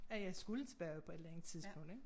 At jeg skulle tilbage på et eller andet tidspunkt ik